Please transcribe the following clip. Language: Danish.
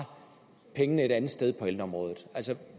pengene et andet sted på ældreområdet